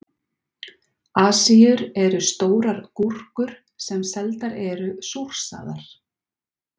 Asíur eru stórar gúrkur sem seldar eru súrsaðar.